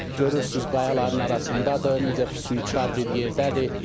Görürsünüz qayaların arasındadır, necə füsunkar bir yerdədir.